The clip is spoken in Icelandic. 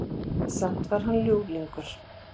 Samt var hann ljúflingur.